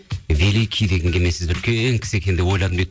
великий дегенге мен сізді үлкен кісі екен деп ойладым дейді